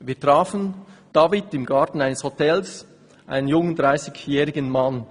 «Wir trafen David in einem Garten eines Hotels, einen jungen 30jährigen Mann.